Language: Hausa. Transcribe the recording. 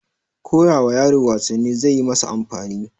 koyawa yaro wasanni zaiyi masa amfani